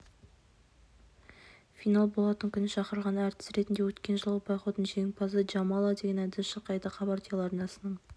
финал болатын күні шақырылған әртіс ретінде өткен жылғы байқаудың жеңімпазы джамала деген әнді шырқайды хабар телеарнасының